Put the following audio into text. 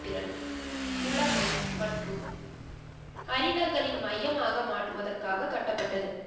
திறன், புலமை மற்றும் அறிஞர்களின் மையமாக மாற்றுவதற்காக கட்டப்பட்டது.